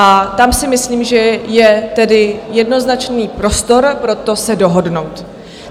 A tam si myslím, že je tedy jednoznačný prostor pro to se dohodnout.